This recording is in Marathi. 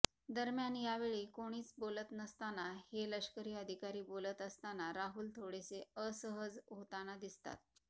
दरम्यान यावेळी कोणीच बोलत नसताना हे लष्करी अधिकारी बोलत असताना राहुल थोडेसे असहज होताना दिसतात